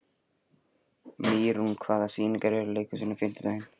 Mýrún, hvaða sýningar eru í leikhúsinu á fimmtudaginn?